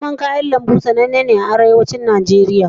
Noman kayan lambu tsanenne ce masamman a Arewacin Najeriya.